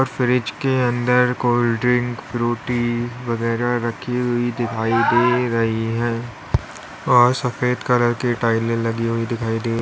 fridge के अंदर cold drink Frooti वगैरा रखी हुई दिखाई दे रही हैं और सफेद कलर की टाइले लगी दिखाई दे --